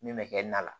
Min bɛ kɛ na la